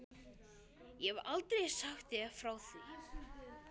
Ég hef aldrei sagt þér frá því.